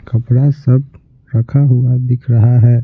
कपड़ा सब रखा हुआ दिख रहा है।